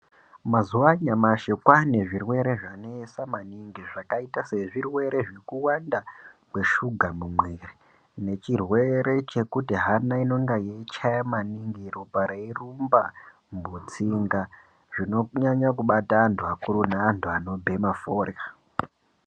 Mazuva anyamashi kwane zvirwere zvanesa maningi zvakaita zvirwere zvekuwanda kweshuga mumwiri. Nechirwere chekuti hana inenge yeichaya maningi ropa reirumba mutsinga zvinonyanya kubata antu akuru neantu anobhema forya.